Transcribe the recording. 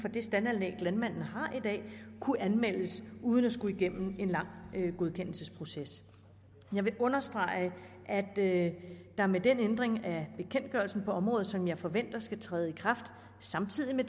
det staldanlæg landmanden har i dag kunne anmeldes uden at skulle igennem en lang godkendelsesproces jeg vil understrege at der med den ændring af bekendtgørelsen på området som jeg forventer skal træde i kraft samtidig med